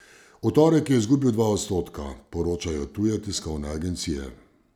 V torek je izgubil dva odstotka, poročajo tuje tiskovne agencije.